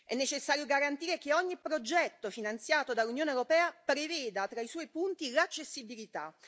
È necessario garantire che ogni progetto finanziato dall'Unione europea preveda tra i suoi punti l'accessibilità.